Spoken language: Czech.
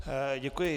Děkuji.